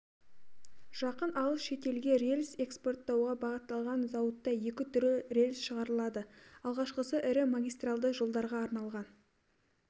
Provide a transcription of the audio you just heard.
жақын алыс шетелге рельс экспорттауға бағытталған зауытта екі түрлі рельс шығарылады алғашқысы ірі магистралды жолдарға арналған